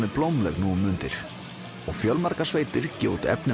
er blómleg nú um mundir og fjölmargar sveitir gefa út efni